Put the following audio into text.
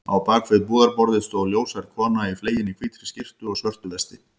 Á bak við búðarborðið stóð ljóshærð kona í fleginni hvítri skyrtu og svörtu vesti.